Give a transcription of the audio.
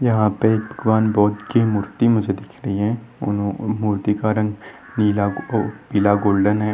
यहाँ पे भगवान बुध की मूर्ति मुझे दिख रही है उनो उ मूर्ति का रंग नीला ओ पिला गोल्डन है।